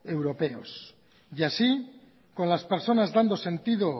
europeos y así con las personas dando sentido